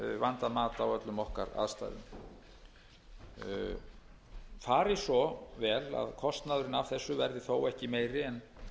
vandað mat á öllum okkar aðstæðum fari svo vel að kostnaðurinn af þessu verði þó ekki meiri en